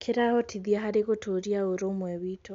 Kĩrateithia harĩ gũtũũria ũrũmwe witũ.